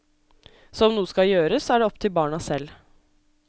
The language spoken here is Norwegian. Så om noe skal gjøres, er det opp til barna selv.